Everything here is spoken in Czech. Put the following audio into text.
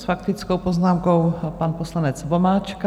S faktickou poznámkou pan poslanec Vomáčka.